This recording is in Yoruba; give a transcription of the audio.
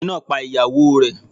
Ọkùnrin náà pa ìyàwó o rẹ̀.